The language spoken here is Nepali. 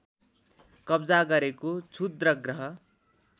कब्जा गरेको क्षुद्रग्रह